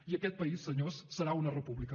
i aquest país senyors serà una república